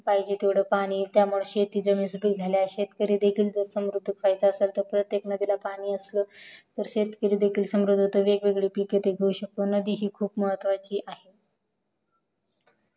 पाहिजे तेवढे पाणी किवा शेती सुपीक झाल्या आहेत शेतकरी जर समृद्ध व्हायचे असेल तर प्रत्यक नदीला पाणी असले तर शेतकरी देखील समृद्ध होतो वेग वेगळे पिके तो घेऊ शकतो नदी ही खूप महत्वाची आहे